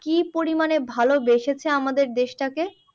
কি পরিমাণে ভাল বেসেছে আমাদের দেশটাকে?